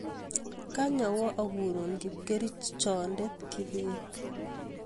kany awa akuru kipkerichonde Kibet